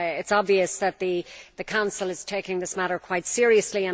It is obvious that the Council is taking this matter quite seriously.